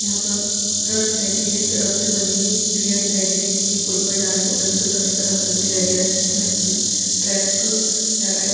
यहाँ पर सड़क दिखाई दे रही है सड़क से बनी हुई सीढ़ियां दिखाई दे रही है टूटी हुई ऊपर जाने का उधर से उतरने का रास्ता भी दिखाई दे रहा है बीच में एक ट्रैक जारा है|